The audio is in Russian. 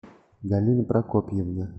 галина прокопьевна